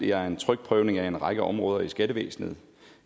jeg en trykprøvning af en række områder i skattevæsenet